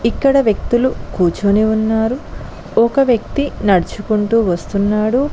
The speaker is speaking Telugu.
ఇక్కడ వ్యక్తులు కూర్చుని ఉన్నారు ఒక వ్యక్తి నడుచుకుంటూ వస్తున్నాడు.